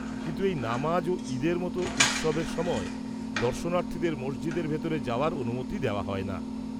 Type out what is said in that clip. -কিন্তু এই নামাজ ও ঈদের মতন উৎসবের সময় দর্শনার্থীদের মসজিদের ভিতরে যাওয়ার অনুমতি দেওয়া হয় না।